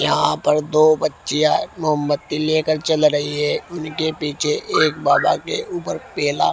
यहां पर दो बच्चियां मोमत्ती लेकर चल रही है इनके पीछे एक बाबा के ऊपर पेला।